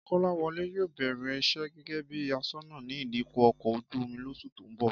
Kọ́láwọlé yóò bẹ̀rẹ̀ iṣẹ́ gẹ́gẹ́ bí aṣọ́nà ní ìdíkọ̀ ọkọ̀ ojú-omi lóṣù tó ń bọ̀